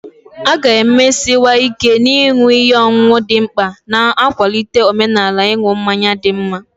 A ga-emesiwanye ike na ịṅụ ihe ọṅụṅụ dị mkpa, na-akwalite omenala ịṅụ mmanya dị mma.